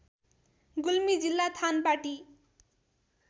गुल्मी जिल्ला थानपाटी